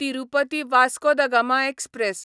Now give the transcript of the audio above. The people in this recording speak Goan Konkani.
Tirupati Vasco da Gama express